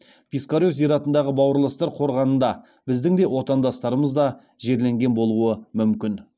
пискарев зиратындағы бауырластар қорғанында біздің де отандастарымыз да жерленген болуы мүмкін